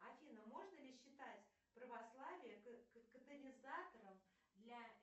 афина можно ли считать православие катализатором для